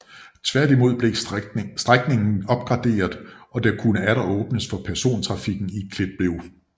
Tværtimod blev strækningen opgraderet og der kunne atter åbnes for persontrafikken i Kliplev